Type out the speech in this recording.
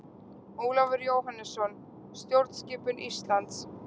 Ólafur Jóhannesson: Stjórnskipun Íslands.